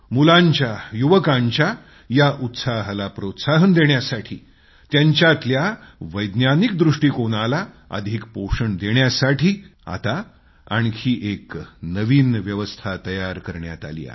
मुलांच्या युवकांच्या या उत्साहाला प्रोत्साहन देण्यासाठी त्यांच्यातल्या वैज्ञानिकाला अधिक पोषण देण्यासाठी आता आणखी एक नवीन व्यवस्था तयार करण्यात आली आहे